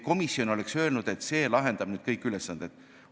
Komisjon pole öelnud, et see lahendab kõik probleemid.